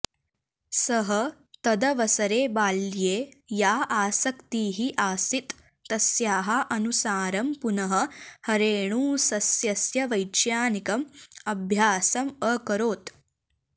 सः तदवसरे बाल्ये या आसक्तिः आसीत् तस्याः अनुसारं पुनः हरेणुसस्यस्य वैज्ञानिकम् अभ्यासम् अकरोत्